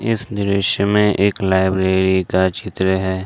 इस दृश्य में एक लाइब्रेरी का चित्र है।